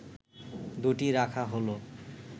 দু’টি রাখা হলো